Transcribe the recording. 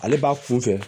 Ale b'a kun fɛ